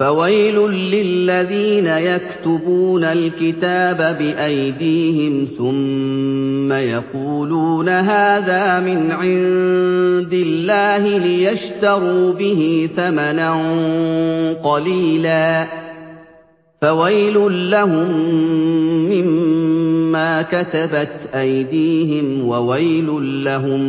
فَوَيْلٌ لِّلَّذِينَ يَكْتُبُونَ الْكِتَابَ بِأَيْدِيهِمْ ثُمَّ يَقُولُونَ هَٰذَا مِنْ عِندِ اللَّهِ لِيَشْتَرُوا بِهِ ثَمَنًا قَلِيلًا ۖ فَوَيْلٌ لَّهُم مِّمَّا كَتَبَتْ أَيْدِيهِمْ وَوَيْلٌ لَّهُم